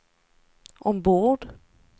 ombord